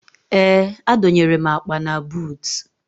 Ee, adọnyere m akpa na buutu